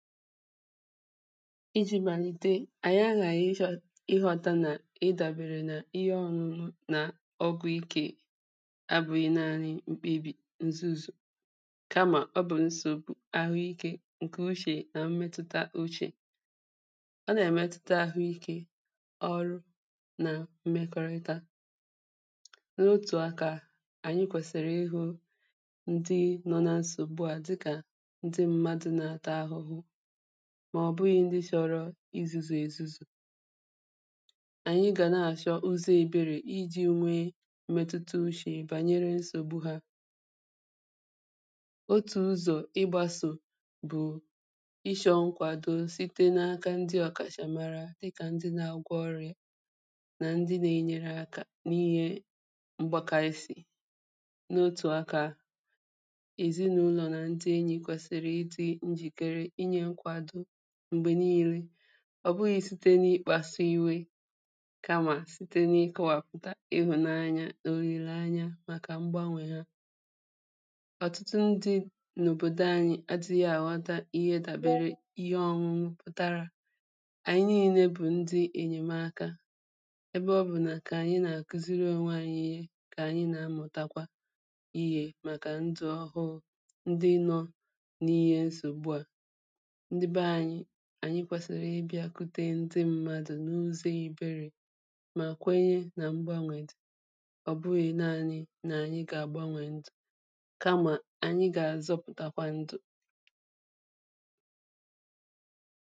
ijī màlite àyị aghàghị̀ ịzọ̄ ịghọtā nà ịdàbèrè nà ihe ọ̄ṅụ̄ṅụ̄ ọgwụ ikē abụghị naanị̄ mkpebì nzuzù kamà ọ bụ̀ nsògbu àhụikē ṅ̀kè uchè nà mmetụ̣ta uchè ọ nà-èmetụta àhụikē ọrụ nà mmekọrịta n’otù akā ànyị kwèsị̀rị̀ ịhụ̄ ndị nọ̄ na nsògbu à dịkà ndị mmadụ̄ nà-àta ahụhụ mà ọ bụghị̄ ndị chọrọ izūzù èzuzù ànyị gà na- àchọ ụzọ̀ eberè ijī nwee metuta uchè bànyere nsògbu hā otù ụzọ̀ ịgbasò bụ̀ ịshọ̄ ṅkwàdo site n’aka ndị ọ̀kàchamara dịkà ndị nā-agwọ ọri̩à nà ndị na-enyere akā n’ihe mgbaka isī n’otù akā èzinàụlọ̀ nà ndị enyì kwèsị̀rị̀ ịdị̄ njìkere inyē nkwàdo m̀gbè niilē ọ̀ bụghị̄ site n’ịkpāsū iwe kamà site n’ịkọwàpụ̀tà ịhụ̀nanya òlìlèanya màkà mgbanwè ha ọ̀tụtụ ndị̄ n’òbòdò anyị adị̄ghị̄ àghọta ihe dàbere ihe ọṅụṅụ pụ̀tarā àyi niilē bụ̀ ndị ènyèmaka ebe ọ bụ̀ nà kà àyị nà-akùziri ōnwē ayị̄ ihe kà ànyị nà amụtakwa ihē màkà ndụ̀ ọhụụ̄ ndị nọ̄ n’ihe nsògbu à ndị be anyị̄ ànyi kwèsị̀rị̀ ịbịākwute ndị mmadụ̀ n’ụzọ̄ eberè mà kwenye nà mgbanwè dị̀ ọ̀ bụghị̄ naanị̄ nà ànyị gà àgbanwè ndụ̀ kamà ànyị gà azọpụtakwa ndụ̀